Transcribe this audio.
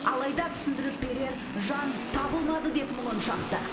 алайда түсіндіріп берер жан табылмады деп мұңын шақты